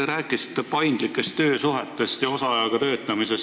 Te rääkisite paindlikest töösuhetest ja osaajaga töötamisest.